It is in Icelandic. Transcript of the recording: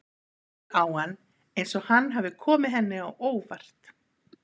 Hún lítur á hann eins og hann hafi komið henni á óvart.